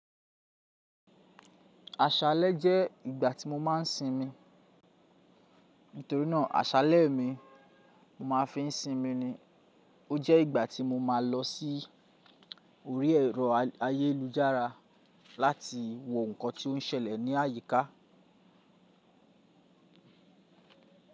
Àṣálẹ́ jẹ́ ìgbà tí mo máa ń sinmi. Nítorínà àṣálẹ́ mi mo máa fi ń sinmi ni. Ó jẹ́ ìgbà tí mo máa lọ sí orí ẹ̀rọ ayélujára láti wo ǹkan tí ó ń ṣẹlẹ̀ ní àyíká.